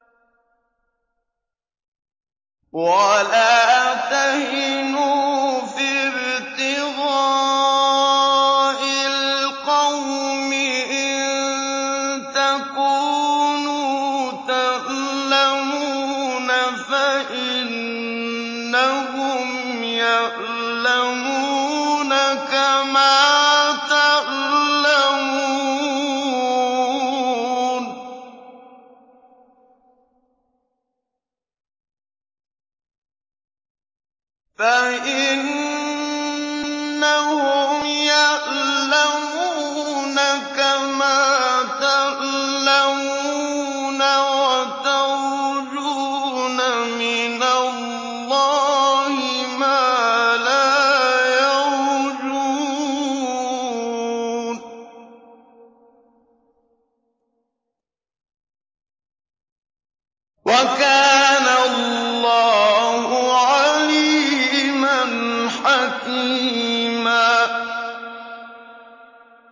وَلَا تَهِنُوا فِي ابْتِغَاءِ الْقَوْمِ ۖ إِن تَكُونُوا تَأْلَمُونَ فَإِنَّهُمْ يَأْلَمُونَ كَمَا تَأْلَمُونَ ۖ وَتَرْجُونَ مِنَ اللَّهِ مَا لَا يَرْجُونَ ۗ وَكَانَ اللَّهُ عَلِيمًا حَكِيمًا